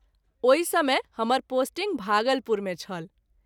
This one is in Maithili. ओहि समय हमर पोस्टिंग भागलपुर मे छल।